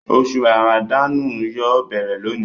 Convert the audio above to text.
Oṣù Ràmàdánù yóò béèrè lóni